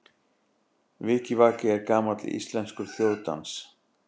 Vikivaki er gamall íslenskur þjóðdans.